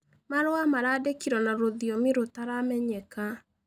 Marũa marandĩkĩrwo na rũthĩomĩ rũtaramenyeka.